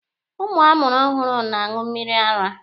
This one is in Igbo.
Ụmụ a mụrụ ọhụrụ na-aṅụ mmịrị ara.